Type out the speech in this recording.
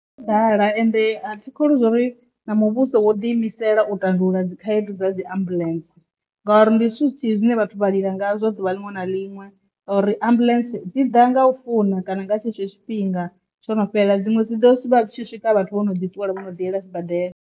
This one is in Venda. Ndi ḓala ende a thikholwi zwori na muvhuso wo ḓi imisela u tandulula dzi khaedu dza dzi ambulence ngauri ndi zwithu zwithihi zwine vhathu vha lila ngazwo ḓuvha ḽiṅwe na ḽiṅwe ngori ambuḽentse dzi ḓa nga u funa kana nga tshetsho tshifhinga tsho no fhelela dziṅwe dzi vha dzi tshi swika vhathu vho no ḓi ṱuwela vhono ḓi yela sibadela.